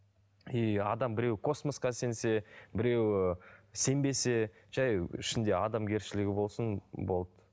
и адам біреу космосқа сенсе біреу сенбесе жай ішінде адамгершілігі болсын болды